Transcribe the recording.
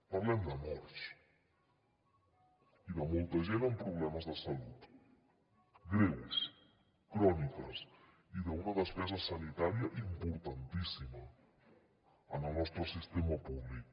parlem de morts i de molta gent amb problemes de salut greus crònics i d’una despesa sanitària importantíssima en el nostre sistema públic